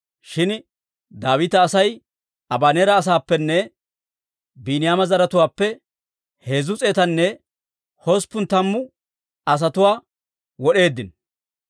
Shin Daawita Asay Abaneera asaappenne Biiniyaama zaratuwaappe heezzu s'eetanne usuppun tammu asatuwaa wod'eeddino.